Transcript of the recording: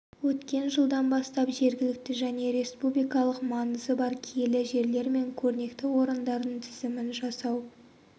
өткен жылдан бастап жергілікті және республикалық маңызы бар киелі жерлер мен көрнекті орындардың тізімін жасау